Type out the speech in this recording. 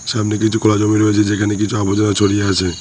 সামনে কিছু খোলা জমি রয়েছে যেখানে কিছু আবর্জনা ছড়িয়ে আছে।